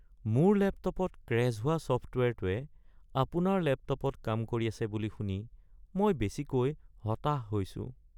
মোৰ লেপটপত ক্ৰেশ্ব হোৱা ছফ্টৱেৰটোৱে আপোনাৰ লেপটপত কাম কৰি আছে বুলি শুনি মই বেছিকৈ হতাশ হৈছোঁ।